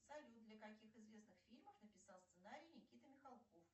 салют для каких известных фильмов написал сценарий никита михалков